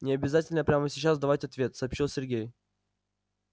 не обязательно прямо сейчас давать ответ сообщил сергей